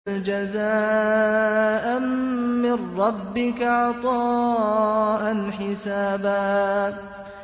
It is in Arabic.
جَزَاءً مِّن رَّبِّكَ عَطَاءً حِسَابًا